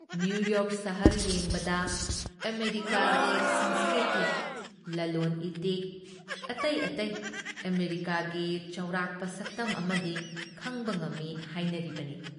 New York ꯁꯍꯔ ꯌꯦꯡꯕꯗ ꯑꯃꯦꯔꯤꯀꯥꯒꯤ ꯁꯪꯁꯀ꯭ꯔꯤꯇꯤ, ꯂꯂꯣꯟ ꯏꯇꯤꯛꯀꯤ, ꯑꯇꯩ ꯑꯇꯩ ꯑꯃꯦꯔꯤꯀꯥꯒꯤ ꯆꯥꯎꯔꯥꯛꯄ ꯁꯛꯇꯝ ꯑꯃꯗꯤ ꯈꯪꯕ ꯉꯝꯃꯤ ꯍꯥꯏꯅꯔꯤꯕꯅꯤ ꯫